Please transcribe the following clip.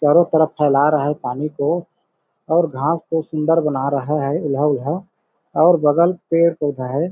चारों तरफ फैला रहा है पानी को और घास को सुंदर बना रहा है उल्हा उल्हा और बगल पेड़ पौधा है।